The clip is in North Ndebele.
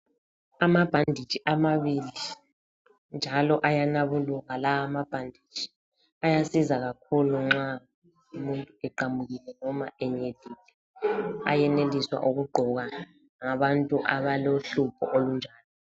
Amabhanditshi amabili njalo ayanabuluka lawa mabhanditshi. Ayasiza kakhulu nxa umuntu eqamukile noma enyenyile. Ayeneliswa ukugqokwa ngabantu abalohlupho olunjalo.